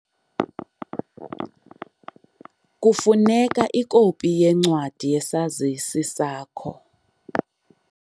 Kufuneka ikopi yencwadi yesazisi sakho.